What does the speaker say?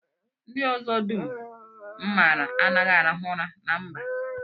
Ndị ọzọ dum m maara anaghị arahu ụra na mba